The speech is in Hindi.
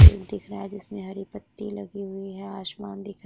पेड़ दीख रहा है जिसमे हरि पत्ति लगी हुई है आसमान दीख रा --